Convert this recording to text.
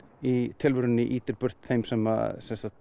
í tilverunni ýtir burt þeim sem